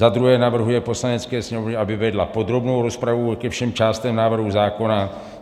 za druhé navrhuje Poslanecké sněmovně, aby vedla podrobnou rozpravu ke všem částem návrhu zákona;